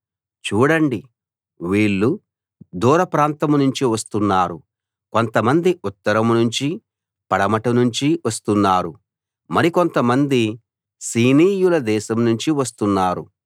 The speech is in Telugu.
చూడండి వీళ్ళు దూర ప్రాంతం నుంచి వస్తున్నారు కొంతమంది ఉత్తరం నుంచీ పడమటి నుంచి వస్తున్నారు మరికొంతమంది సీనీయుల దేశం నుంచి వస్తున్నారు